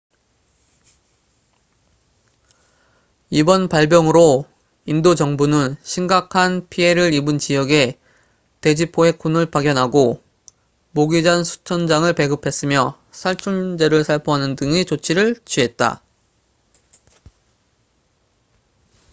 이번 발병으로 인도 정부는 심각한 피해를 입은 지역에 돼지 포획꾼을 파견하고 모기장 수천 장을 배급했으며 살충제를 살포하는 등의 조치를 취했다